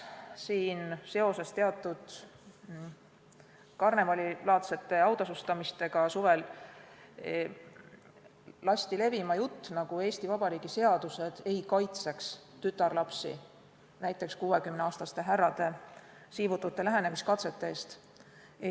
Seoses ühe suvise teatud karnevalilaadse autasustamisega lasti levima jutt, nagu Eesti Vabariigi seadused ei kaitseks tütarlapsi näiteks 60-aastaste härrade siivutute lähenemiskatsete eest.